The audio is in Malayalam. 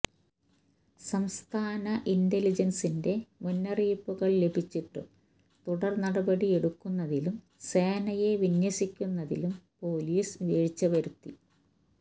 സംസ്ഥാന ഇന്റലിജന്സിന്റെ മുന്നറിയിപ്പുകള് ലഭിച്ചിട്ടും തുടര്നടപടിയെടുക്കുന്നതിലും സേനയെ വിന്യസിക്കുന്നതിലും പൊലീസ് വീഴ്ച വരുത്തി